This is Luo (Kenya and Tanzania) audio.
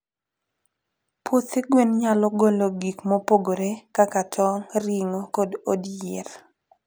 puothe gwen nyalo golo gikmopgore kaka tong, ringo od yier